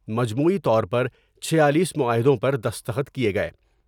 مجموعی طور پرچھیالیس معاہدوں پر دستخط کیے گئے ۔